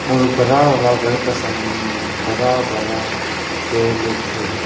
और बरा वाला घर का सामने में बरा बरा पेड़ लोग है।